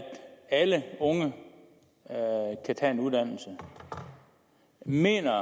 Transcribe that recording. alle unge kan tage en uddannelse mener